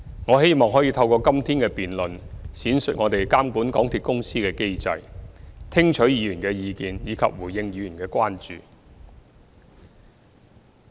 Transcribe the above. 我希望可以透過今天的辯論，闡述我們監管港鐵公司的機制，聽取議員的意見，以及回應議員的關注。